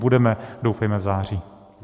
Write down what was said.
Budeme doufejme v září.